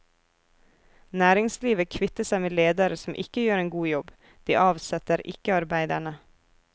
Næringslivet kvitter seg med ledere som ikke gjør en god jobb, de avsetter ikke arbeiderne.